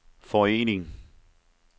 forening